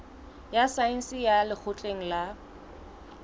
ya saense ya lekgotleng la